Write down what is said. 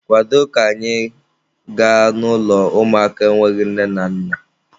Kwado ka anyị gaa n'ụlọ ụmụaka enweghị nne na nna!